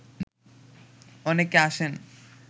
অনেকে আসেন